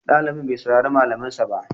Ɗalibin bai saurari malamin sa ba